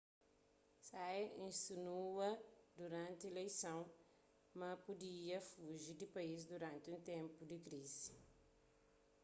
hsieh insinua duranti ileison ma ma pudia fuji di país duranti un ténpu di krizi